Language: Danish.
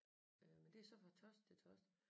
Øh men det er så fra torsdag til torsdag